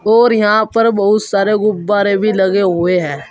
और यहां पर बहुत सारे गुब्बारे भी लगे हुए हैं।